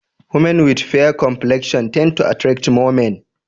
Women with fair complexion tend to attract more men